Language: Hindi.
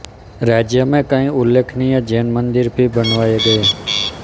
राज्य में कई उल्लेखनीय जैन मंदिर भी बनवाए गए